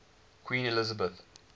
queen elizabeth